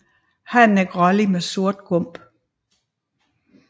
Hannen er grålig med sort gump